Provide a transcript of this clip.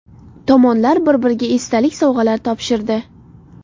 Tomonlar bir-biriga esdalik sovg‘alari topshirdi.